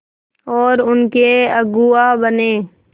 और उनके अगुआ बने